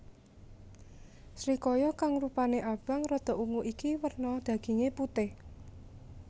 Srikaya kang rupané abang rada ungu iki werna dagingé putih